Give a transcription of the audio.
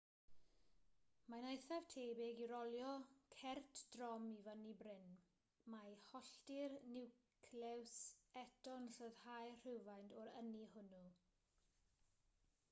mae'n eithaf tebyg i rolio cert drom i fyny bryn mae hollti'r niwclews eto'n rhyddhau rhywfaint o'r ynni hwnnw